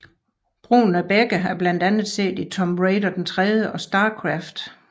Brugen af begge er blandt andet set i Tomb Raider III og StarCraft